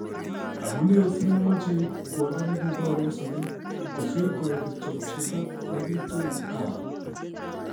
"Amune simemoche iigu kwondo negibor en sobet, kosir koik kityok chito nekitun anum?"